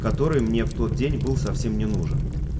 который мне в тот день был совсем не нужен